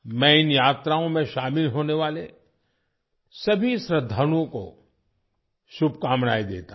मैं इन यात्राओं में शामिल होने वाले सभी श्रद्धालुओं को शुभकामनाएं देता हूँ